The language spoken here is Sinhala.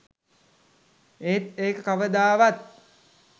ඒත් ඒක කවදාවත්